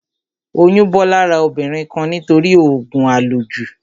Oyún bọ́ lára obìnrin kan nítorí òògùn à lò jù